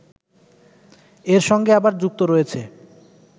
এর সঙ্গে আবার যুক্ত রয়েছে